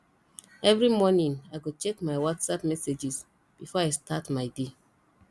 every morning i go check my whatsapp messages before i start my day